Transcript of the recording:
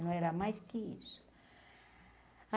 Não era mais que isso.